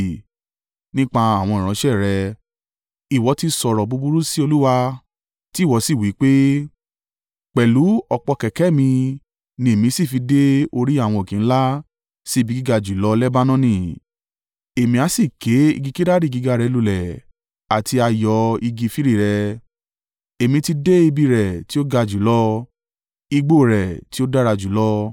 Nípa àwọn ìránṣẹ́ rẹ, ìwọ ti sọ̀rọ̀ búburú sí Olúwa. Tì wọ sì wí pé, ‘Pẹ̀lú ọ̀pọ̀ kẹ̀kẹ́ mi ni èmi sì fi dé orí àwọn òkè ńlá, sí ibi gíga jùlọ Lebanoni. Èmi a sì ké igi kedari gíga rẹ̀ lulẹ̀, àti ààyò igi firi rẹ̀. Èmi ti dé ibi rẹ̀ tí ó ga jùlọ, igbó rẹ̀ tí ó dára jùlọ.